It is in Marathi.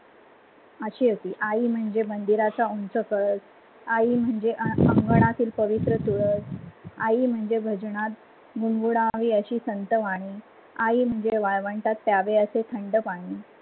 अशी होती, आई म्हणजे मंदिराचा उंच कळस, आई म्हणजे अंगनातिल पवित्र तुळस, आई म्हणजे भजनात अशी संतवाणी, आई म्हणजे वाळवंटात प्यावे अस थंड पानी.